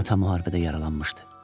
Ata müharibədə yaralanmışdı.